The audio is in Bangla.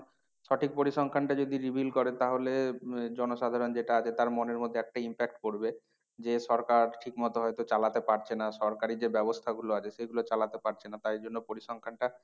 সঠিক পরিসংখ্যানটা যদি reveal করে তাহলে আহ জন সাধারণ যেটা আছে তার মনের মধ্যে একটা impact করবে। যে সরকার ঠিক মতো হয়তো চালাতে পারছে না। সরকারি যে ব্যবস্থা গুলো আছে সেগুলো চালাতে পারছে না তাই জন্য পরিসংখ্যানটা